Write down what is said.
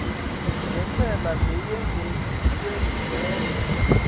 nentsela leyengetiwe ngenca